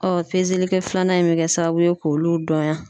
Ɔ pezeli kɛ filanan in bɛ kɛ sababu ye k'olu dɔnya.